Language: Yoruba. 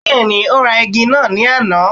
Bẹ́ẹ̀ni, ó ra igi náà ní àná.